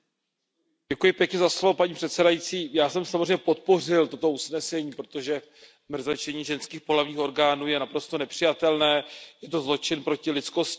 Paní předsedající, já jsem samozřejmě podpořil toto usnesení, protože mrzačení ženských pohlavních orgánů je naprosto nepřijatelné, je to zločin proti lidskosti, proti lidským právům.